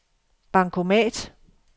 bankomat